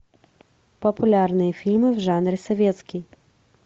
популярные фильмы в жанре советский